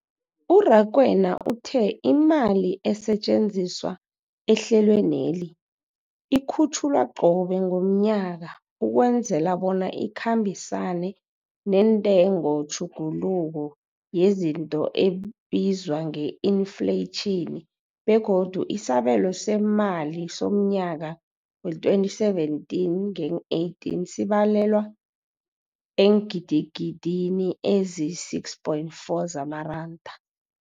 URakwena uthe imali esetjenziswa ehlelweneli ikhutjhulwa qobe ngomnyaka ukwenzela bona ikhambisane nentengotjhuguluko yezinto ebizwa nge-infleyitjhini, begodu isabelo seemali somnyaka we-2017 ngeen-18 sibalelwa eengidigidini ezisi-6.4 zamaranda.